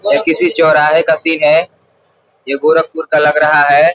ये किसी चौराहे का सीन है ये गोरखपुर का लग रहा है।